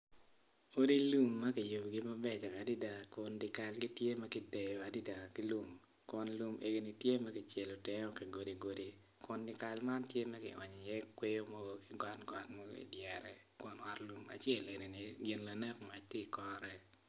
Odi lum makiyubogi mabeco adada kun dyakal gi tye makiteno adada ki lum kun lum egoni tye makicelo tenge o ki godi godi kun dyakal man tye makionyo i ye kwoyo mogo ki got got mogo idyere kun ot lum acel enini gin lanek mac tye i kore.